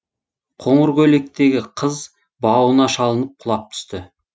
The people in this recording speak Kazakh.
қоңыр көйлектегі қыз бауына шалынып құлап түсті